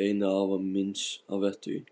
beiðni afa míns að vettugi.